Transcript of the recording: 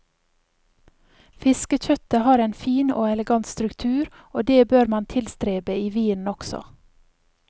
Fiskekjøttet har en fin og elegant struktur, og det bør man tilstrebe i vinen også.